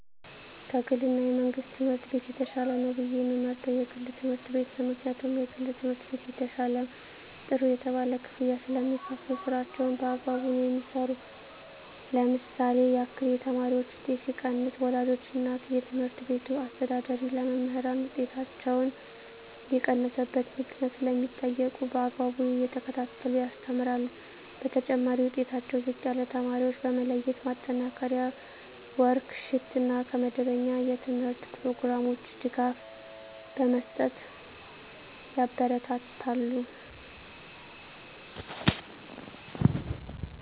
ከ ግል እና የመንግሥት ትምህርት ቤት የተሻለ ነው ብየ የምመርጠው የግል ትምህርት ቤት ነው ምክንያቱም የግል ትምህርት ቤት የተሻለ ጥሩ የተባለ ክፍያ ስለሚካፈሉ ስራቸውን በአግባቡ ነው የሚሠሩ ለምሳሌ ያክል የተማሪዎች ውጤት ሲቀንስ ወላጆች እና የትምህርት ቤቱ አስተዳዳሪ ለመምህራን ውጤታቸው የቀነሰበት ምክንያት ስለሚጠይቁ በአግባቡ እየተከታተሉ ያስተምራሉ በተጨማሪ ዉጤታቸው ዝቅ ያለ ተማሪዎችን በመለየት ማጠናከሪያ ወርክ ሽት እና ከመደበኛ የተምህርት ኘሮግራም ውጭ ድጋፍ በመስጠት ያበረታታሉ።